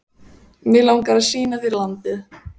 Mig langar að sýna þér landið